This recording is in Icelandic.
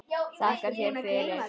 Þakka þér fyrir.